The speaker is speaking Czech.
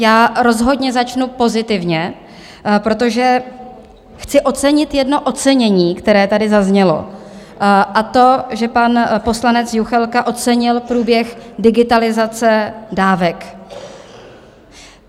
Já rozhodně začnu pozitivně, protože chci ocenit jedno ocenění, které tady zaznělo, a to že pan poslanec Juchelka ocenil průběh digitalizace dávek.